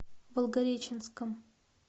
волгореченском